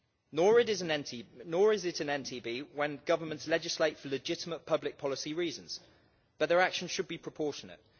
Nor is it an NTB when governments legislate for legitimate public policy reasons, but their actions should be proportionate.